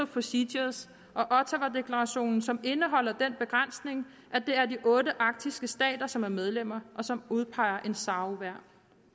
procedures og ottawadeklarationen som indeholder den begrænsning at det er de otte arktiske stater som er medlemmer og som udpeger en sao hver